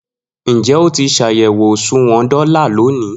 Njẹ o ti ṣayẹwo oṣuwọn dola loni?